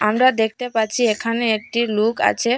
আমরা দেখতে পাচ্ছি এখানে একটি লোক আছে।